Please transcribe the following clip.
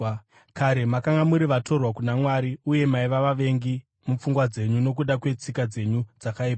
Kare makanga muri vatorwa kuna Mwari uye maiva vavengi mupfungwa dzenyu nokuda kwetsika dzenyu dzakaipa.